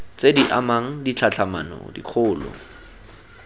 tse di amang ditlhatlhamano dikgolo